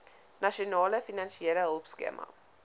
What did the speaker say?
nasionale finansiële hulpskema